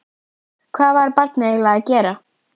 Hvað var barnið eiginlega að gera?